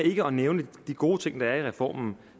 ikke at nævne de gode ting der er i reformen